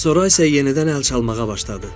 Sonra isə yenidən əl çalmağa başladı.